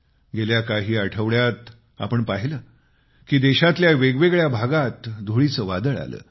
गेल्या काही आठवड्यात आपण पाहिले की देशातल्या वेगवेगळ्या भागात धुळीचे वादळ आले